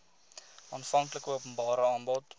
aanvanklike openbare aanbod